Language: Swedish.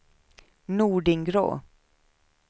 Nordingrå